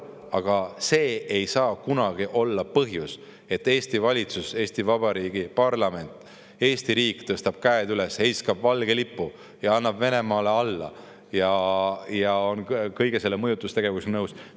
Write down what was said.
Aga see ei saa kunagi olla põhjus, et Eesti valitsus, Eesti Vabariigi parlament, Eesti riik tõstab käed üles, heiskab valge lipu ja annab Venemaale alla ning on kogu selle mõjutustegevusega nõus.